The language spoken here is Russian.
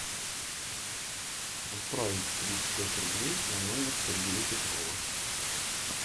отправить тридцать пять рублей на номер сергея петрова